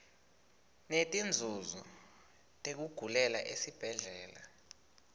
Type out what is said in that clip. netinzunzo tekugulela esibhedlela